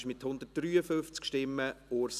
Ich schwöre es.